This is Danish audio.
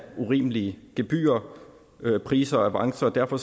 urimelige gebyrer priser og avancer og derfor